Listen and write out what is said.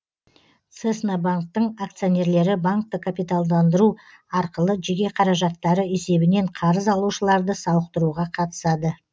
цеснабанктің акционерлері банкті капиталдандыру арқылы жеке қаражаттары есебінен қарыз алушыларды сауықтыруға қатысады